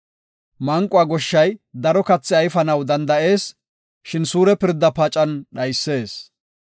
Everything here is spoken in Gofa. Manquwa goshshay daro kathi ayfenaw danda7ees; shin suure pirda pacan dhayees.